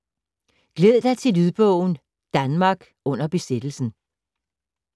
Glæd dig til lydbogen ”Danmark under besættelsen”